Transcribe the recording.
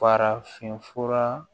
Farafinfura